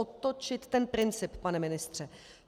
Otočit ten princip, pane ministře.